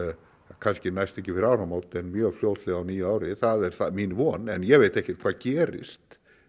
kannski næst ekki fyrir áramót en mjög fljótlega á nýju ári það er mín von en ég veit ekkert hvað gerist